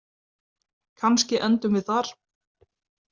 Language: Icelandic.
Kannski endum við þar